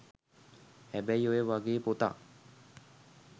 හැබැයි ඔය වගේ පොතක්